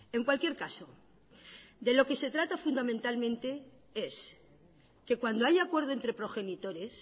en cualquier caso de lo que se trata fundamentalmente es que cuando haya acuerdo entre progenitores